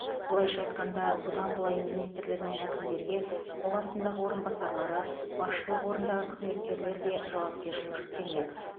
былайша айтқанда бұдан былай министрлер мен әкімдерге қол астындағы орынбасарлары басшылық орындағы қызметкерлер үшін де жауапкершілік жүктелмек